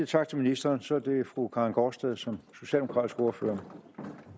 tak til ministeren så er det fru karin gaardsted som socialdemokratisk ordfører